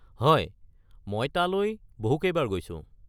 হয়, মই তালৈ বহুকেইবাৰ গৈছো।